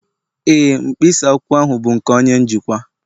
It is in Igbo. Ee, mkpịsị akwụkwọ ahụ bụ nke onye njikwa